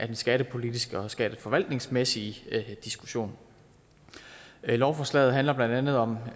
den skattepolitiske og skatteforvaltningsmæssige diskussion lovforslaget handler blandt andet om